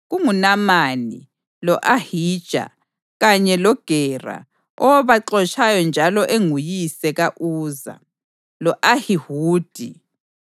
KunguNamani, lo-Ahija, kanye loGera owabaxotshayo njalo enguyise ka-Uza, lo-Ahihudi.